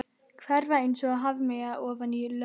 Hverfa einsog hafmeyja ofan í löðrið.